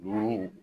Buruw